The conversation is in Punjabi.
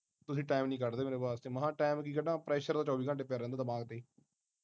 ਤੁਸੀਂ ਟਾਈਮ ਨੀ ਕੱਢਦੇ ਮੇਰੇ ਵਾਸਤੇ ਮੈਂ ਟਾਈਮ ਕੀ ਕੱਢਾ ਪ੍ਰੈਸ਼ਰ ਆ ਚੌਵੀ ਘੰਟੇ ਪਿਆ ਰਹਿੰਦਾ ਦਿਮਾਗ ਤੇ। ਮੈਂ ਜਦੇ ਹੁੰਦਾ ਮੈਂ ਹੁੰਦਾ ਕਰ ਲੈਂਦਾ ਵਹਿਲਾ ਹੁੰਦਾ ਜਦੋਂ